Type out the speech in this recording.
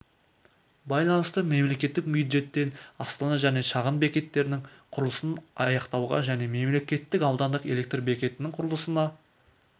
байланысты мемлекеттік бюждеттен астана және шағын бекеттерінің құрылысын аяқтауға және мемлекеттік аудандық электр бекетінің құрылысына